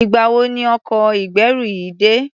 Ìgbà wo ni ọkọ̀ ìgbẹ́rù yìí dé?